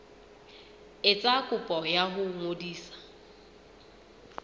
etsa kopo ya ho ngodisa